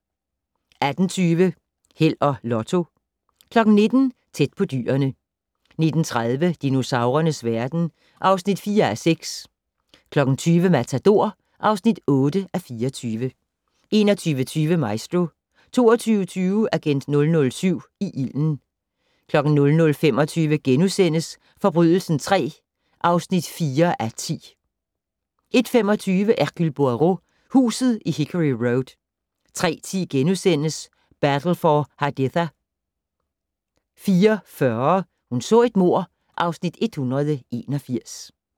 18:20: Held og Lotto 19:00: Tæt på dyrene 19:30: Dinosaurernes verden (4:6) 20:00: Matador (8:24) 21:20: Maestro 22:20: Agent 007 i ilden 00:25: Forbrydelsen III (4:10)* 01:25: Hercule Poirot: Huset i Hickory Road 03:10: Battle for Haditha * 04:40: Hun så et mord (Afs. 181)